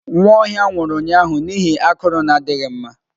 Nwaohia nwuru ụnyahụ n'ihi akụru na adighi mma.